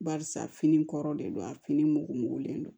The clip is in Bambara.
Barisa fini kɔrɔ de don a fini mugulen don